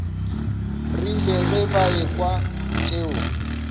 rile ge ba ekwa tšeo